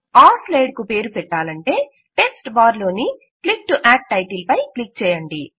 ఆ స్లైడ్ కు పేరు పెట్టాలంటే టెక్ట్స్ బార్ లోని క్లిక్ టు ఆడ్ టైటిల్ పై క్లిక్ చేయండి